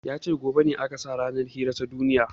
Yace gobe ne aka sa ranar hira ta duniya